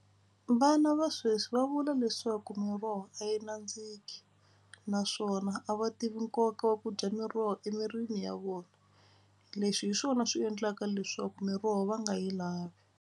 Vana va sweswi va vula leswaku miroho a yi nandziki naswona a va tivi nkoka wa ku dya miroho emirini ya vona. Leswi hi swona swi endlaka leswaku miroho va nga yi lavi.